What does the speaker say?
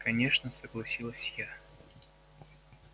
конечно согласилась я